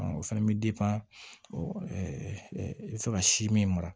O fana bɛ i bɛ fɛ ka si min mara